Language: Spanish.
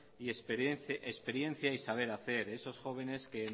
y experiencia y saber hacer esos jóvenes que